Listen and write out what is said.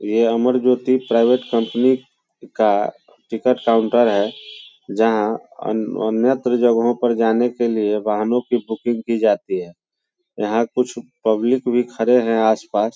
यह Amar Jyoti private company का ticket counter है जहाँ अन अन्यतर जाने के लिए वाहनों की बुकिंग की जाती है यहाँ कुछ पब्लिक भी खड़े हैं आस पास।